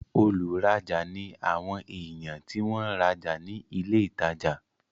olùrajà ni àwọn èèyàn tí wọ́n ń rajà ní ilé ìtajà